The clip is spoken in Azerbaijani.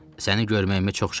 Səni görməyimə çox şadam.